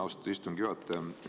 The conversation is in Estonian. Austatud istungi juhataja!